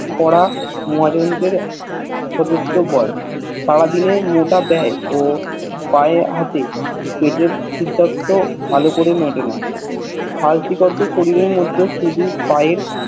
কড়া মহাজনীদের সুদূরথ ভয় সারাদিনের মোট বেই ও পেয়ে হাতে পেটের খুদার্থ ভাল করে মিটেনা হালকা শরীরের মধ্যে শুধু পায়ের